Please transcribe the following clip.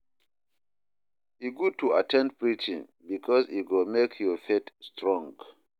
E good to at ten d preaching bikus e go mek yur faith strong.